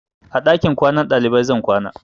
A ɗakin kwanan ɗalibai zan kwana.